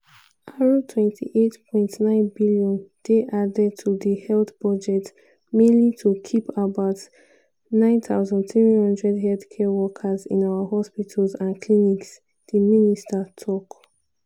"r28.9 billion dey added to di health budget mainly to keep about 9300 healthcare workers in our hospitals and clinics" di minister tok.